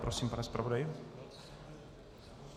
Prosím, pane zpravodaji.